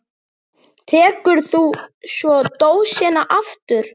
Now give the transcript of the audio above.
Tekur þú svo dósina aftur?